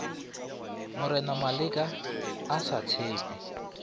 mna maleka a sa tshepe